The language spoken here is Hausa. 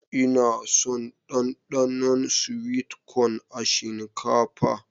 Ina son Danɗanon "sweet corn" a shinkafa.